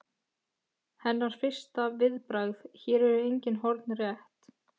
Hennar fyrsta viðbragð: Hér eru engin horn rétt.